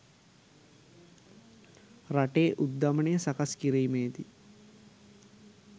රටේ උද්ධමනය සකස් කිරීමේදී